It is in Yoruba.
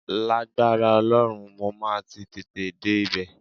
Lágbára Ọlọ́run, mo máa ti tètè dé ibẹ̀